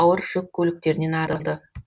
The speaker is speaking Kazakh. ауыр жүк көліктерінен арылды